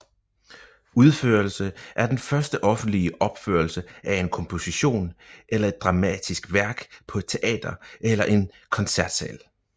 Uropførelse er den første offentlige opførelse af en komposition eller et dramatisk værk på et teater eller en koncertsal